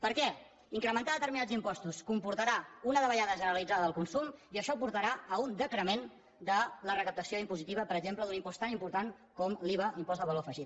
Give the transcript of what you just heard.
per què incrementar determinats impostos comportarà una davallada generalitzada del consum i això portarà a un decrement de la recaptació impositiva per exemple d’un impost tan important com l’iva impost del valor afegit